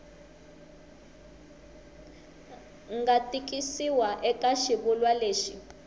nga tikisiwa eka xivulwa lexi